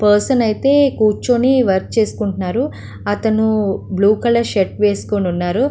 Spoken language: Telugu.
పర్సన్ కుచోని వర్క్ చేసుకుంటున్నారు. అతను బ్లూ కలర్ షర్ట్ వేసుకున్నారు.